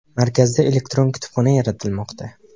Markazda elektron kutubxona yaratilmoqda.